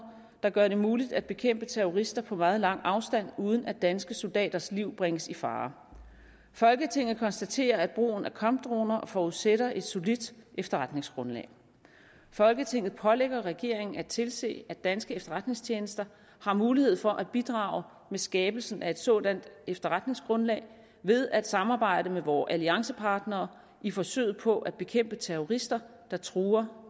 der gør det muligt at bekæmpe terrorister på meget lang afstand uden at danske soldaters liv bringes i fare folketinget konstaterer at brugen af kampdroner forudsætter et solidt efterretningsgrundlag folketinget pålægger regeringen at tilse at danske efterretningstjenester har mulighed for at bidrage med skabelsen af et sådant efterretningsgrundlag ved at samarbejde med vore alliancepartnere i forsøget på at bekæmpe terrorister der truer